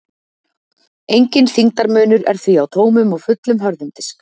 Enginn þyngdarmunur er því á tómum og fullum hörðum disk.